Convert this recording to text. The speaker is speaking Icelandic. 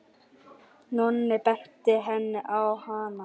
Nonni benti henni á hana.